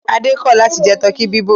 Adé kọ̀ láti jẹ tọkí bíbọ̀.